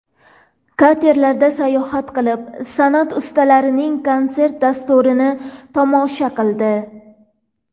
Katerlarda sayohat qilib, san’at ustalarining konsert dasturini tomosha qildi.